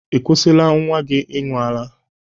Ị kwusila nwa gị ịñụ ara?